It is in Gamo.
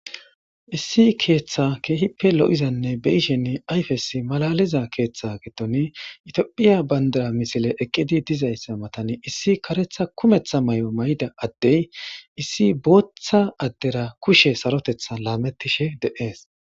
issi keeththa keehippe lo'izanne be'ishen ayfesi malaliza keeththa getoni itiophiya bandara misile eqqidi dizayssa matani issi karetha kumetha mayo mayida addey issi booththa addera kushe sarotetha laamettishe de'ees